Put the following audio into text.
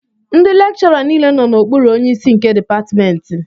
Ndị lekchọra nile nọ n'okpuru onyeisi nke dịpatmentị